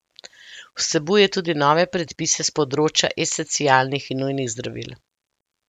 Vsebuje tudi nove predpise s področja esencialnih in nujnih zdravil.